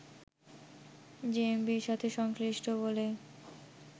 জেএমবির সাথে সংশ্লিষ্ট বলে